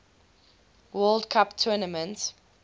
world cup tournament